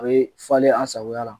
A bɛ falen a sagoya la.